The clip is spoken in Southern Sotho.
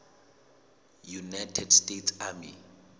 united states army